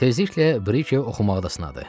Tezliklə Brike oxumaqda sınadı.